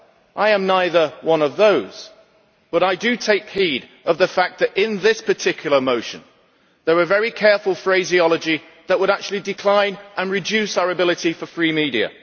I am neither one of those, but I do take heed of the fact that in this particular motion there is very careful phraseology that would actually decline and reduce our ability for free media.